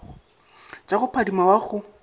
tša go phadima wa go